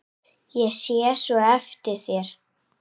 Ég sé svo eftir þér.